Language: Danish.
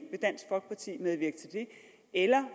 vil dansk folkeparti medvirke til det eller